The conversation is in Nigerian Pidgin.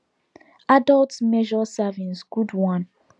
adults measure servings good one